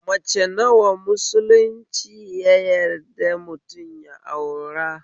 Mace nawa musulunci ya yadda mutum ya aura?